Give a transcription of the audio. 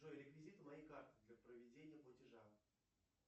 джой реквизиты моей карты для проведения платежа